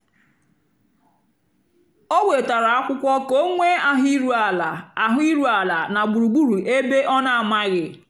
ó wètárá ákwụ́kwọ́ kà ọ́ nwée áhụ̀ írú àlà áhụ̀ írú àlà nà gbúrúgbúrú ébé ọ́ nà-àmághị́.